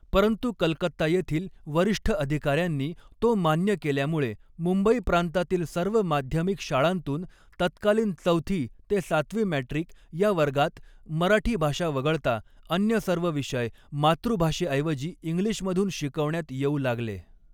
परंतु कलकत्ता येथील वरिष्ठ अधिकाऱ्यांनी तो मान्य केल्यामुळे मुंबई प्रांतातील सर्व माध्यमिक शाळांतून तत्कालीन चवथी ते सातवी मॅट्रिक ह्या वर्गांत मराठी भाषा वगळता अन्य सर्व विषय मातृभाषेऐवजी इंग्लिशमधून शिकवण्यात येऊ लागले.